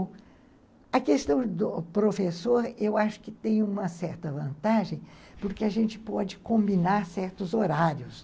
A questão do professor, eu acho que tem uma certa vantagem, porque a gente pode combinar certos horários.